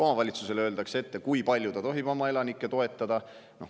Omavalitsusele öeldakse ka ette, kui palju ta tohib oma elanikke toetada.